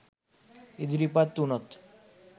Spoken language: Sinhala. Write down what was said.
ඉදිරිපත් උනොත්